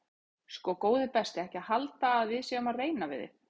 Sko góði besti ekki halda að við séum að reyna við þig.